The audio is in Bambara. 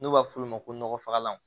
N'u b'a f'olu ma ko nɔgɔfagalan